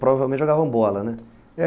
Provavelmente jogavam bola, né?